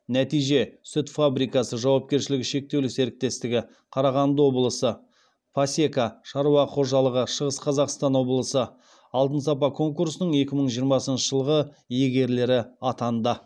нәтиже сүт фабрикасы жауапкершілігі шектеулі серіктестігі пасека шаруа қожалығы алтын сапа конкурсының екі мың жиырмасыншы жылғы иегерлері атанды